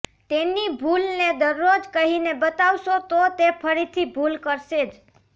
તેની ભૂલને દરરોજ કહીને બતાવશો તો તે ફરીથી ભૂલ કરશે જ